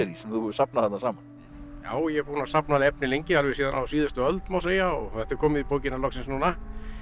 sem þú hefur safnað þarna saman já ég er búinn að safna efni lengi alveg síðan á síðustu öld má segja og þetta er komið í bókina loksins núna